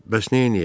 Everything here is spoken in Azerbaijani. Bəs neyləyək?